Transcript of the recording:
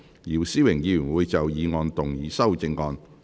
姚思榮議員會就議案動議修正案。